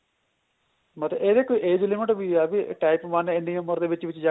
ਮਤਲਬ ਇਹਦੀ ਕੋਈ age limit ਵੀ ਏ ਬੀ type one ਇੰਨੀ ਉਮਰ ਦੇ ਵਿੱਚ ਵਿੱਚ ਜਾ